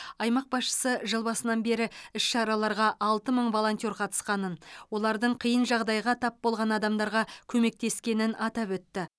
аймақ басшысы жыл басынан бері іс шараларға алты мың волонтер қатысқанын олардың қиын жағдайға тап болған адамдарға көмектескенін атап өтті